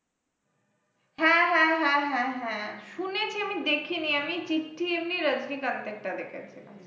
হ্যাঁ হ্যাঁ হ্যাঁ হ্যাঁ হ্যাঁ শুনেছি আমি দেখিনি আমি চিঠি, আমি রাজনিকান্তের টা দেখেছি।